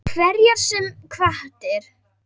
Hverjar sem hvatir